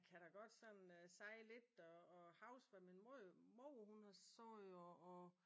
Jeg kan da godt sådan sige lidt og huske hvad min mor hun har sagt og og